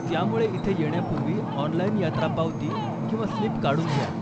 त्यामुळे, इथे येण्यापूर्वी ऑनलाईन यात्रा पावती किंवा स्लीप काढून घ्या.